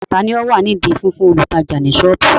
Tani ó wà nídi fífún olùtajà ní soobu?